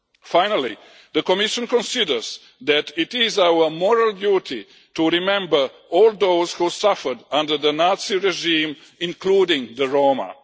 Finally, the Commission considers that it is our moral duty to remember all those who suffered under the Nazi regime, including the Roma.